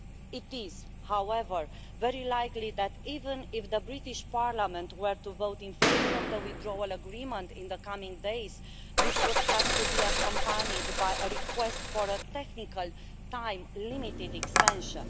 It is, however, very likely that even if the British Parliament were to vote in favour of the Withdrawal Agreement in the coming days, this would have to be accompanied by a request for a technical, time limited extension.